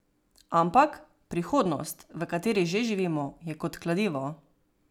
Ampak, prihodnost, v kateri že živimo, je kot kladivo.